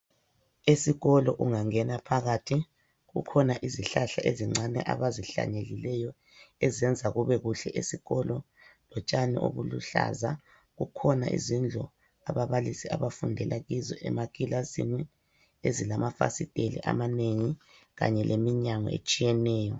Esikolo ungangena phakathi, kukhona izihlahla ezincane abazihlanyelileyo ezenza kubekuhle esikolo lotshani obuluhlaza. Kukhona izindlu ababalisi abafundela kizo emakilasini ezilamafasitela amanengi kanye leminyango etshiyeneyo.